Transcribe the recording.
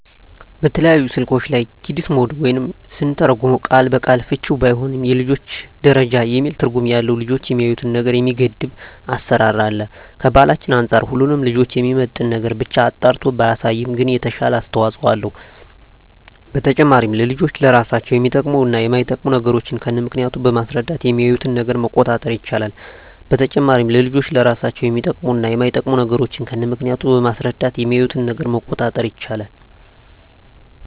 በተለያዩ ስልኮች ላይ "ኪድስ ሞድ" ወይም ስንተረጉመው ቃል በቃል ፍችውም ባይሆን የልጆች ደረጃ የሚል ትርጉም ያለው ልጆች የሚያዪትን ነገር የሚገድብ አሰራር አለ። ከባህላችን አንፃር ሁሉንም ልጆችን የሚመጥን ነገርን ብቻ አጣርቶ ባያሳይም ግን የተሻለ አስተዋጽኦ አለው። በተጨማሪም ለልጆች ለራሳቸው የሚጠቅሙ እና የማይጠቅሙ ነገሮችን ከነምክንያቱ በማስረዳት የሚያዪትን ነገር መቆጣጠር ይቻላል። በተጨማሪም ለልጆች ለራሳቸው የሚጠቅሙ እና የማይጠቅሙ ነገሮችን ከነምክንያቱ በማስረዳት የሚያዪትን ነገር መቆጣጠር ይቻላል።